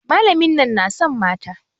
Malamin nan na son mata.